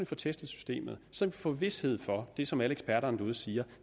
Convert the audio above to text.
får testet systemet så vi få vished for det som alle eksperterne derude siger